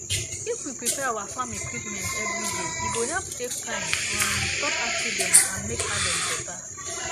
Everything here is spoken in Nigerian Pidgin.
if we prepare our farm equipment every day e go help save time um stop accident and make harvest better